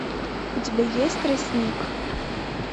у тебя есть тростник